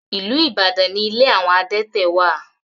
Ìlú Ibadan ní ilé àwọn adẹ́tẹ̀ wà.